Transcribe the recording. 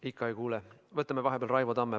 Ikka ei kuule, võtame vahepeal Raivo Tamme.